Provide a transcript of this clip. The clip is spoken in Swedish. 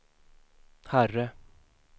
herre